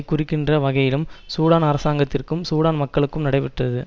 குறிக்கின்ற வகையிலும் சூடான் அரசாங்கத்திற்கும் சூடான் மக்கள் நடைபெற்றது